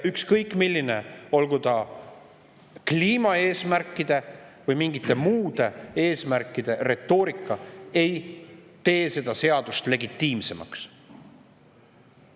Ükskõik milline, olgu kliimaeesmärkide või mingite muude eesmärkide retoorika, ei tee seda seadust legitiimsemaks.